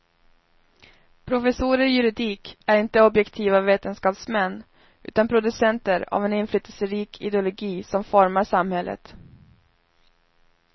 Professorer i juridik är inte objektiva vetenskapsmän utan producenter av en inflytelserik ideologi som formar samhället.